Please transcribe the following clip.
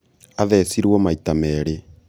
athecirwo maita merĩ